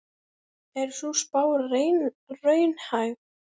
Er sú spá raunhæf?